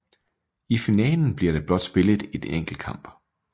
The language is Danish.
I finalen bliver der blot spillet én enkelt kamp